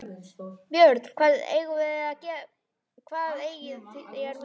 BJÖRN: Hvað eigið þér við?